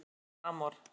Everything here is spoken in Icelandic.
Amor Amor